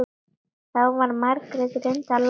Þá var Margrét reyndar látin.